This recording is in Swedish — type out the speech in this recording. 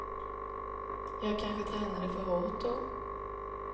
Jag kanske tränade för hårt då.